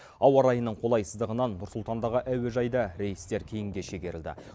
ауа райының қолайсыздығынан нұр сұлтандағы әуежайда рейстер кейінге шегерілді